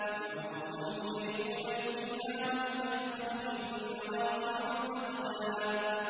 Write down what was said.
يُعْرَفُ الْمُجْرِمُونَ بِسِيمَاهُمْ فَيُؤْخَذُ بِالنَّوَاصِي وَالْأَقْدَامِ